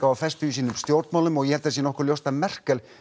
og festu í sínum stjórnmálum og ég held að það sé nokkuð ljóst að Merkel